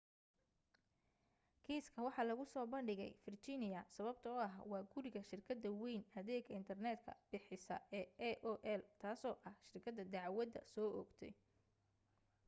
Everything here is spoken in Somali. kiiska waxa lagu soo bandhigay virginia sababtoo ah waa guriga shirkada wayn adeega internet ka bixisa ee aol taaso ah shirkada dacdwada soo oogtay